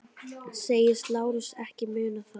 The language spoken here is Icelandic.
Segist Lárus ekki muna það.